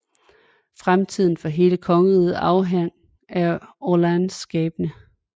Fremtiden for hele kongeriget afhang af Orléans skæbne